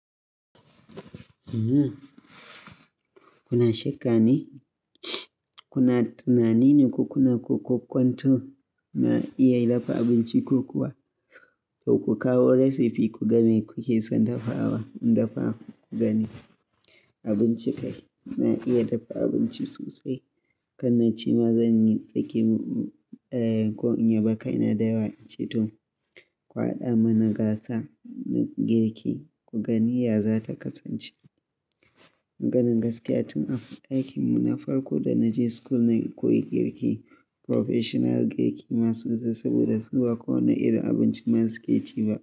Kuna shakka ne? Kuna tunani ne ko kuna kwakwanto na iya dafa abinci ko kuwa to ku kawo recipe ku game kuke son dafawa in dafa ku gani abinci kai. Na iya dafa abinci sosai. Kanna cewa zanyi tsaki? Kuna tunanin ko kuna kwakwanto na iya dafa abinci ko kuwa ku kawo recipe ku game kuke son dafawa in dafa ku gani abinci kai. Na iya dafa abinci sosai. Mugani ya zata kasance Maganin gaskiya tun a ɗakin mu na farko da na je school na koyi girki, professional girki masu da saboda su ba kowane irin abinci ma su ke ci ba.